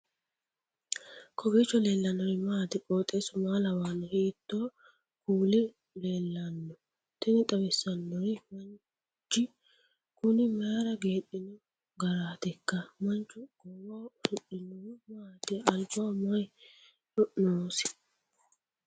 kowiicho leellannori maati ? qooxeessu maa lawaanno ? hiitoo kuuli leellanno ? tini xawissannori manch kuni mayra geedhino garraatikka manchu goowaho usudhinohu maati albaho mayi noosi